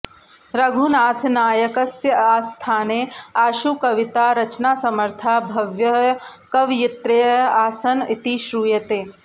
रघुनाथनायकस्य आस्थाने आशुकवितारचनासमर्थाः बह्व्यः कवयित्र्यः आसन् इति श्रूयते